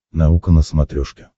наука на смотрешке